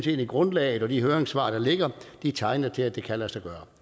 hele grundlaget og de høringssvar der ligger tegner til at det kan lade sig gøre